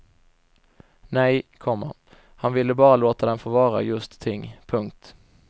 Nej, komma han ville bara låta dem få vara just ting. punkt